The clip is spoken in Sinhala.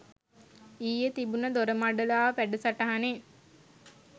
ඊයේ තිබුන දොරමඩලාව වැඩසටහනෙ